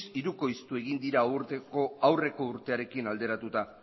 hirukoiztu egin dira aurreko urtearekin alderatuta